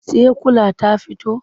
Saikyula ta fito?